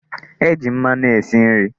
E ji mmanụ esi nri.